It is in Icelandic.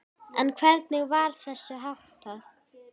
En hvernig var þessu háttað?